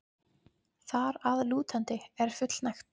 þar að lútandi er fullnægt.